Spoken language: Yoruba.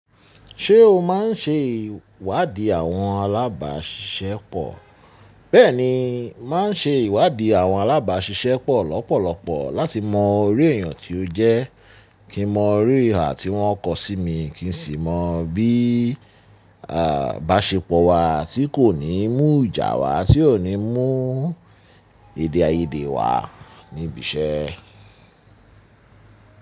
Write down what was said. Ṣé o máa ń ṣe ìwádìí àwọn alábàáṣiṣẹ́ pọ̀? Bẹ́ẹ̀ni, m màá ń ṣe ìwádìí àwọn alábàáṣiṣẹ́ pọ̀ lọ́pọ̀lọpọ̀ láti mọ iru ẹ̀yàn tó jẹ́, kí n mọ iru ìhà tí wọ́n kọ sí mi, kí n sì mọ bí àà bàṣepọ̀ wa tí kò ní mú ìjà wa, tí ò ní mú èdèayèdè wa níbi iṣẹ́.